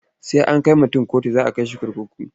Sai an kai mutun kotu za a kai shi kurkuku.